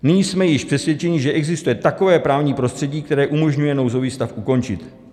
Nyní jsme již přesvědčeni, že existuje takové právní prostředí, které umožňuje nouzový stav ukončit.